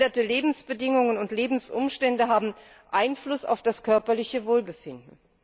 Veränderte Lebensbedingungen und Lebensumstände haben Einfluss auf das körperliche Wohlbefinden.